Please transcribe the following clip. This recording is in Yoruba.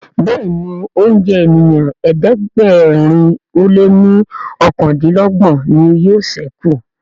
Béèni oúnjẹ ènìyàn ẹ̀ẹ́dẹ̀gbẹ̀rin o lẹ ní okàndinlogbon ní yóò sẹku.